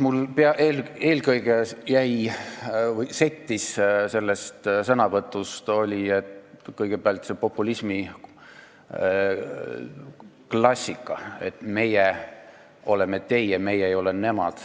Mul settis sellest sõnavõtust välja eelkõige see populismiklassika, et meie oleme teie, meie ei ole nemad,